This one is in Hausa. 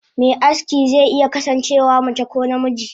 Me aski ze iya kasan cewa mace ko namiji.